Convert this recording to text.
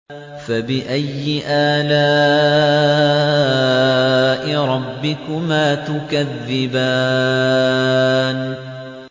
فَبِأَيِّ آلَاءِ رَبِّكُمَا تُكَذِّبَانِ